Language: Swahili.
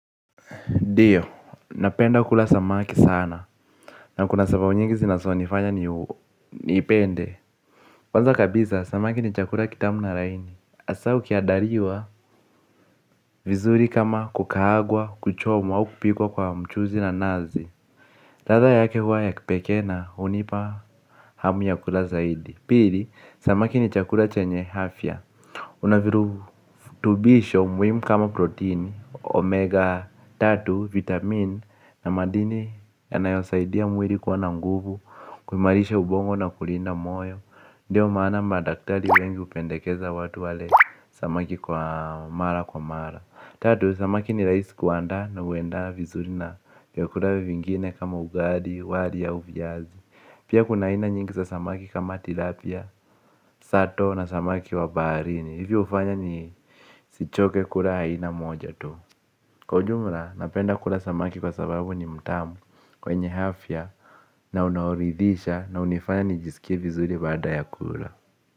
Ndio, napenda kula samaki sana. Na kuna sababu nyingi zinazonifanya niipende. Kwanza kabisa, samaki ni chakula kitamu na laini hasaa ukiandaliwa vizuri kama kukaagwa, kuchomwa au kupikwa kwa mchuzi na nazi ladha yake huwa ya kipekee na, hunipa hamu ya kukula zaidi. Pili, samaki ni chakula chenye afya. Unavirutubisho muhimu kama protini, omega tatu, vitamin na madini yanayosaidia mwili kuwa na nguvu, kuimarisha ubongo na kulinda moyo. Ndio maana madaktari wengi hupendekeza watu wale samaki kwa mara kwa mara. Tatu, samaki ni rahisi kuandaa na huenda vizuri na vyakula vingine kama ugali, wali au viazi. Pia kuna aina nyingi za samaki kama tilapia, sato na samaki wa baharini. Hivi hufanya nisichoke kula aina moja tu. Kwa ujumla napenda kula samaki kwa sababu ni mtamu kwenye afya na unaoridhisha na hunifanya nijisikie vizuri baada ya kula.